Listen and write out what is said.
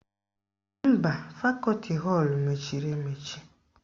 Mba, fakọti họlụ mechiri emechi